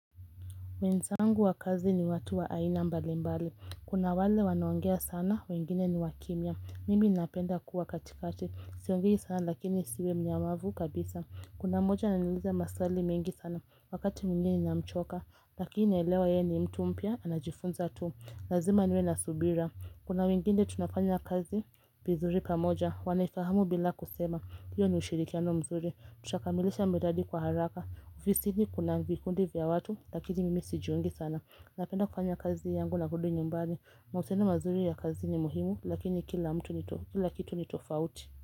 Wenzangu wakazi ni watu wa aina mbali mbali, kuna wale wanaongea sana, wengine ni wa kimya, mimi napenda kuwa katikati, siongei sana lakini sio mnyamavu kabisa, kuna mmoja ananiluiza maswali mengi sana, wakati mwingine namchoka, lakini elewa yeye ni mtu mpya, anajifunza tu, lazima niwe na subira, kuna wengine tunafanya kazi vizuri pamoja, wanifahamu bila kusema hiyo ni ushirikiano mzuri Tutakamilisha miradi kwa haraka ofisini kuna vikundi vya watu Lakini mimi sijiungi sana Napenda kufanya kazi yangu na kurudi nyumbani mahusiano mazuri ya kazi ni muhimu Lakini kila mtu ni to Kila kitu ni tofauti.